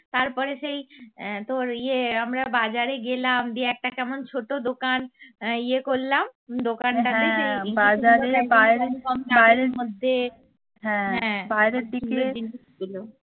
তারপরে সেই আহ তোর ইয়ে আমরা বাজারে গেলাম দে একটা কেমন ছোট দোকান আহ ইয়ে করলাম দোকানটা